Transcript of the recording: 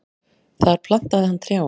Þar plantaði hann trjám.